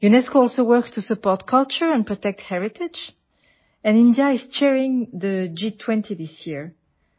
സംസ്കാരത്തെ പിന്തുണയ്ക്കുന്നതിനും പൈതൃകം സംരക്ഷിക്കുന്നതിനുമായി യുനെസ്കോയും പ്രവർത്തിക്കുന്നു ഈ വർഷം ഇന്ത്യയാണ് ജി20 അധ്യക്ഷൻ